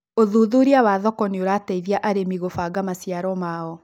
ũthuthuria wa thoko nĩ ũrateithia arĩmi gubaga maciaro maao